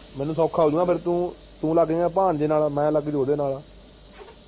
ਮੈਨੂੰ ਸੌਖਾ ਹੋਜੂਗਾ ਫੇਰ ਤੂੰ ਤੂੰ ਲਗ ਜਾਏਗਾ ਭਾਣਜੇ ਨਾਲ ਮੈਂ ਲੱਗ ਜੂ ਓਹਦੇ ਨਾਲ